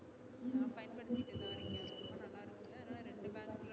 நான் பயன்படுத்திட்டு தான் இருக்க ரொம்ப நல்லா இருந்துச்சு அதுனால ரெண்டு bank ல